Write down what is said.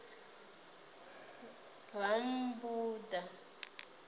rammbuḓa